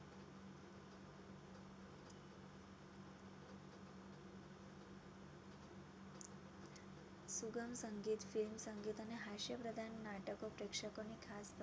સુગમ સંગીત film સંગીત અને હાસ્ય પ્રદાન પ્રેક્ષકોને ને ખાસ